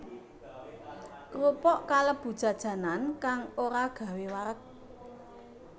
Krupuk kalebu jajanan kang ora gawé wareg